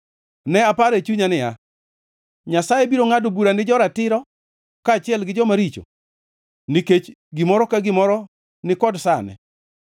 Ne aparo e chunya niya, “Nyasaye biro ngʼado bura ni jo-ratiro kaachiel gi joma richo, nikech gimoro ka gimoro ni kod sane.”